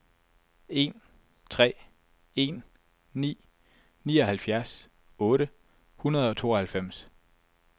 en tre en ni nioghalvfjerds otte hundrede og tooghalvfems